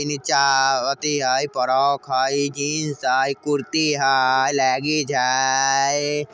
इन्ने अथी हेय इ फ्रॉक हेय जीन्स हेय कुर्ती हेय लेगिंस हेय।